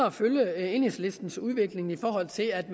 at følge enhedslistens udvikling i forhold til at